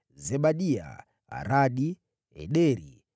Zebadia, Aradi, Ederi,